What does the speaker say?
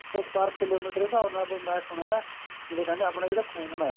per kilometre ਦੇ ਹਿਸਾਬ ਨਾਲ ਮੈਂ ਸੁਣਿਆ ਨਾ ਜਿਵੇਂ ਕਹਿੰਦੇ ਆਪਣਾ ਜਿਹੜਾ ਖੂਨ ਏ